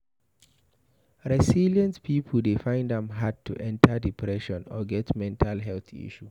Resilient pipo dey find am hard to enter depression or get mental health issue